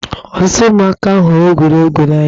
Ọtụtụ ụmụaka hụrụ egwuregwu n'anya.